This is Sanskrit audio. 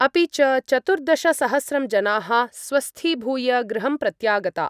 अपि च, चतुर्दशसहस्रं जनाः स्वस्थीभूय गृहं प्रत्यागता।